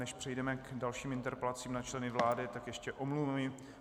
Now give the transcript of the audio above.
Než přejdeme k dalším interpelacím na členy vlády, tak ještě omluvy.